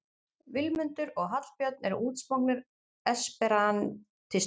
Vilmundur og Hallbjörn eru útsmognir esperantistar